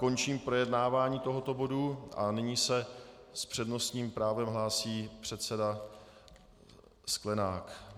Končím projednávání tohoto bodu a nyní se s přednostním právem hlásí předseda Sklenák.